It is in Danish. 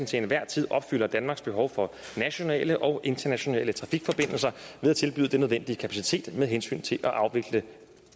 til enhver tid opfylder danmarks behov for nationale og internationale trafikforbindelser ved at tilbyde den nødvendige kapacitet med hensyn til at afvikle